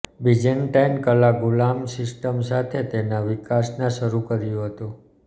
Byzantine કલા ગુલામ system સાથે તેના વિકાસના શરૂ કર્યું હતું